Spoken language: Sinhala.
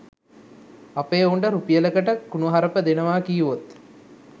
අපේ එවුන්ට රුපියලකට කුණුහරුප දෙනවා කීවොත්